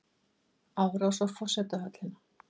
Árás á forsetahöllina